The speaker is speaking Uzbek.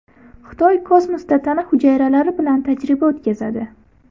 Xitoy kosmosda tana hujayralari bilan tajriba o‘tkazadi.